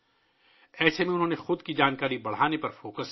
ایسے میں انہوں نے اپنے علم کو بڑھانے پر توجہ دی